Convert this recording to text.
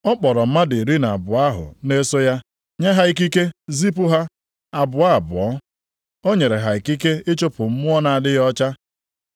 Ọ kpọrọ mmadụ iri na abụọ ahụ na-eso ya, nye ha ikike zipụ ha, abụọ abụọ. O nyere ha ikike ịchụpụ mmụọ na-adịghị ọcha.